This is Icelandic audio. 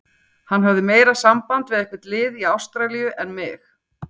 Hann hafði meira samband við eitthvert lið í Ástralíu en mig.